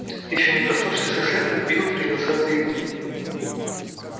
ещё не проснувшись как следует билл принялся за еду